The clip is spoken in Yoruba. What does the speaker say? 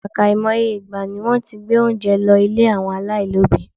Àkàìmoye ìgbà ni wọ́n ti gbé oúnjẹ lọ ilé àwọn aláìní òbí.